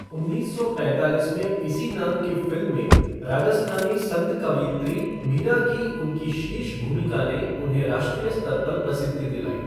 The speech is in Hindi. उन्नीस सौ पैंतालीस में इसी नाम की फ़िल्म में राजस्थानी संत कवयित्री मीरा की उनकी शीर्ष भूमिका ने उन्हें राष्ट्रीय स्तर पर प्रसिद्धि दिलाई।